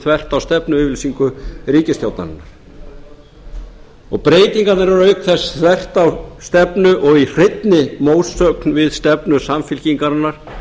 þvert á stefnuyfirlýsingu ríkisstjórnarinnar breytingarnar eru auk þess þvert á stefnu og í hreinni mótsögn við stefnu samfylkingarinnar